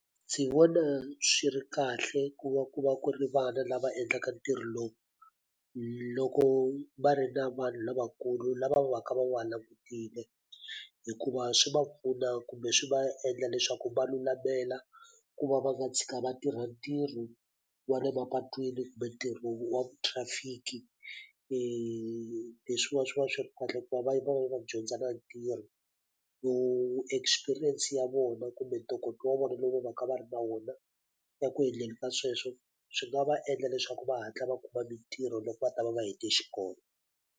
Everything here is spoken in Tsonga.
Ndzi vona swi ri kahle ku va ku va ku ri vana lava endlaka ntirho lowu, loko va ri na vanhu lavakulu lava va ka va nga langutile. Hikuva swi va pfuna kumbe swi va endla leswaku va lulamela ku va va nga tshika va tirha ntirho wa le mapatwini kumbe ntirho wa thirafiki. Leswiwa swi va swi ri kahle ku va va va va va va dyondza na ntirho. Experience ya vona kumbe ntokoto wa vona lowu va va kha va ri na wona eku endleni ka sweswo, swi nga va endla leswaku va hatla va kuma mitirho loko va ta va va hetile xikolo.